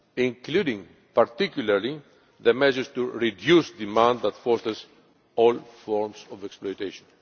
including, particularly, the measures to reduce the demand that drives all forms of exploitation.